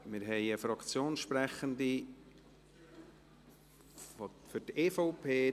Wir haben eine Fraktionssprecherin für die EVP: